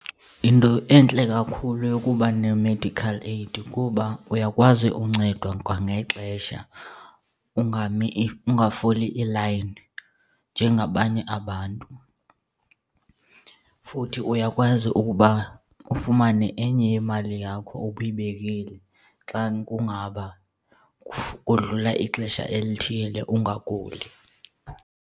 Yinto entle kakhulu eyokuba ne-medical aid kuba uyakwazi uncedwa kwangexesha ungami, ungafoli i-line njengabanye abantu. Futhi uyakwazi ukuba ufumane enye yemali yakho obuyibekile xa kungaba kudlula ixesha elithile ungaguli.